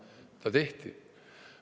Aga ta tehti.